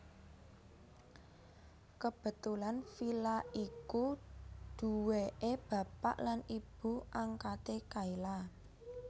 Kebetulan villa iku duwéke bapak lan ibu angkate Kayla